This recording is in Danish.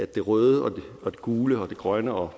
det røde det gule og det grønne og